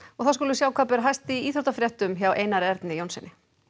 þá skulum við sjá hvað ber hæst í íþróttafréttum kvöldsins hjá Einar Erni Jónssyni